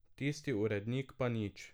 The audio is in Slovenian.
Tisti urednik pa nič.